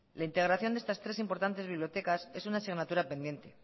la integración de estas tres importantes bibliotecas es una asignatura pendiente